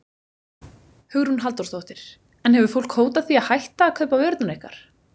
Hugrún Halldórsdóttir: En hefur fólk hótað því að hætta að kaupa vörurnar ykkar?